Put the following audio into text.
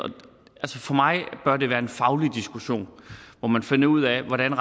for mig bør det være en faglig diskussion hvor man finder ud af hvordan